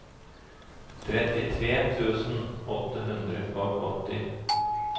trettitre tusen åtte hundre og åtti